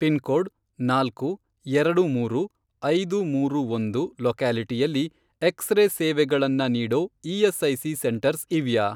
Pin code, ನಾಲ್ಕು, ಎರಡು ಮೂರು, ಐದು ಮೂರು ಒಂದು, ಲೊಕ್ಯಾಲಿಟಿಯಲ್ಲಿ ಎಕ್ಸ್ರೇ ಸೇವೆಗಳನ್ನ ನೀಡೋ ಇ.ಎಸ್.ಐ.ಸಿ. ಸೆಂಟರ್ಸ್ ಇವ್ಯಾ?